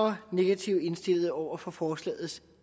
er negativt indstillet over for forslagets